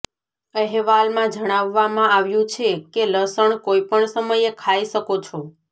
અહેવાલમાં જણાવવામાં આવ્યું છે કે લસણ કોઈપણ સમયે ખાઈ શકો છો